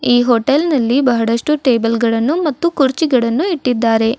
ಈ ಹೊಟೇಲ್ ನಲ್ಲಿ ಬಹಳಷ್ಟು ಟೇಬಲ್ ಗಳನ್ನು ಮತ್ತು ಕುರ್ಚಿಗಳನ್ನು ಇಟ್ಟಿದ್ದಾರೆ.